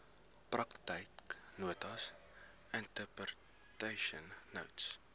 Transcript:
praktyknotas interpretation notes